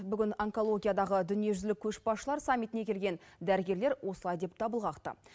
бүгін онкологиядағы дүниежүзілік көшбасшылар саммитіне келген дәрігерлер осылай деп дабыл қақты